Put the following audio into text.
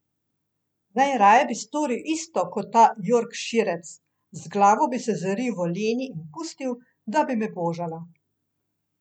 Najraje bi storil isto kot ta jorkširec, z glavo bi se zaril v Leni in pustil, da bi me božala.